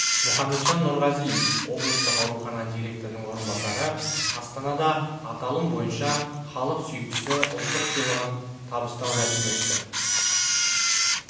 мұхамеджан нұрғазиев облыстық аурухана директорының орынбасары астанада аталым бойынша халық сүйіктісі ұлттық сыйлығын табыстау рәсімі өтті